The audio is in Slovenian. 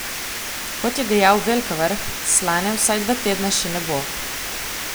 Kot je dejal Velkavrh, slane vsaj dva tedna še ne bo.